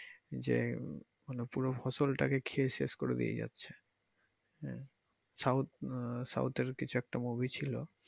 যে মানে পুরো ফসল টা ভেয়ে শেষ করে দিয়ে যাচ্ছে south এর কিছু একটা movie ছিলো।